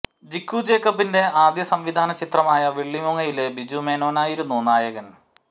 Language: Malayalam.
ജിബു ജേക്കബിന്റെ ആദ്യ സംവിധാന ചിത്രമായ വെള്ളിമൂങ്ങ യില് ബിജു മേനോനായിരുന്നു നായകന്